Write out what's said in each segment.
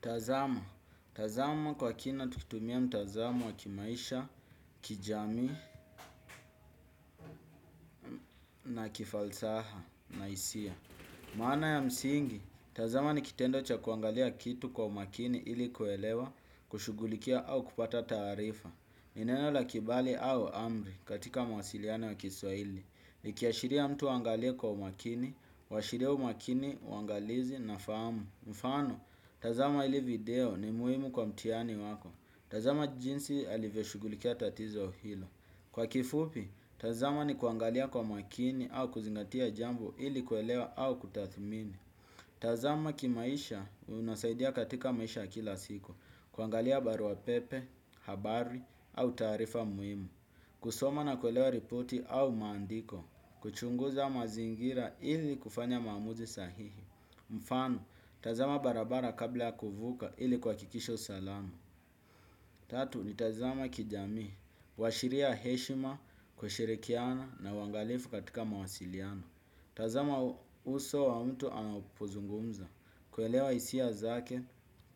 Tazama, tazama kwa kina tukitumia mtazamo wa kimaisha, kijami, na kifalsaha, na hisia. Maana ya msingi, tazama ni kitendo cha kuangalia kitu kwa umakini ili kuelewa, kushugulikia au kupata taarifa. Ni neno la kibali au amri katika mawasiliano wa kiswaili. Nikiashiria mtu angalie kwa umakini, washiria umakini, uangalizi na famu. Mfano, tazama ili video ni muhimu kwa mtihani wako. Tazama jinsi alivyeshugulikia tatizo hilo. Kwa kifupi, tazama ni kuangalia kwa makini au kuzingatia jambo ili kuelewa au kutathmini. Tazama kimaisha unasaidia katika maisha kila siko. Kuangalia barua pepe, habari au taarifa muhimu. Kusoma na kuelewa ripoti au maandiko. Kuchunguza mazingira ili kufanya maamuzi sahihi. Mfano, tazama barabara kabla kuvuka ili kuhakikisha salamu. Tatu ni tazama kijamii, washiria heshima, kushirikiana na uangalifu katika mawasiliano. Tazama uso wa mtu anapuzungumza, kuelewa hisia zake,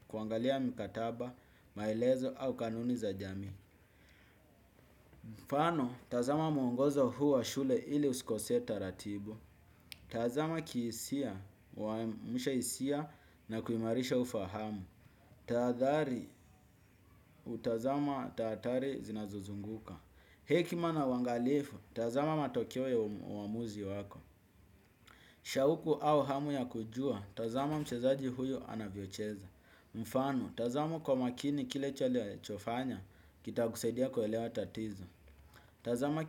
kuangalia mikataba, maelezo au kanuni za jamii. Mfano tazama mwongozo huu wa shule ili usikose taratibu. Tazama kihisia, kuamsha hisia na kuimarisha ufahamu. Taadhari utazama tatari zinazozunguka. Hekima na uangalifu, tazama matokeo ya uamuzi wako. Shauku au hamu ya kujua, tazama mchezaji huyo anavyocheza. Mfano, tazama kwa makini kile chilichofanywa, kitakusaidia kuelewa tatizo. Tazama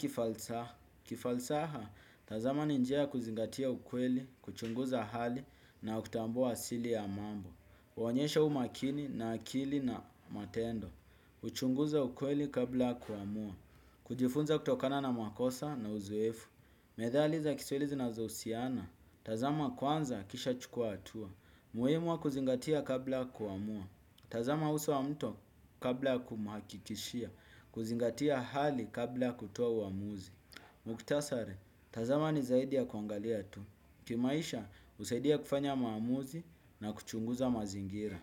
kifalsaha. Tazama ni njia kuzingatia ukweli, kuchunguza hali na kutambua asili ya mambo. Kuonyesha umakini na akili na matendo kuchunguza ukweli kabla kuamua kujifunza kutokana na makosa na uzuefu. Methali za Kiswahili zinazohusiana tazama kwanza kisha chukua hatua muhimu wa kuzingatia kabla kuamua tazama uso wa mto kabla kumakikishia. Kuzingatia hali kabla kutua uamuzi. Muktasari, tazama ni zaidi ya kuangalia tu. Kimaisha, husaidia kufanya maamuzi na kuchunguza mazingira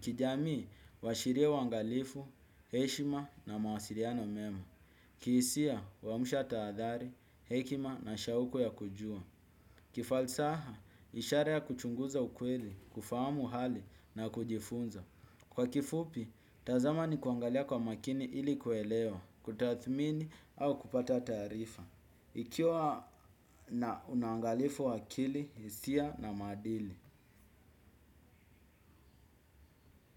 kijamii, washiria uangalifu, heshima na mawasiliano mema. Kihisia, kuamusha taadhari, hekima na shauku ya kujua. Kifalsaha, ishara ya kuchunguza ukweli, kufamu hali na kujifunza. Kwa kifupi, tazama ni kuangalia kwa makini ili kuelewa kutathmini au kupata tarifa. Ikiwa na unangalifu wa akili, hisia na maadili.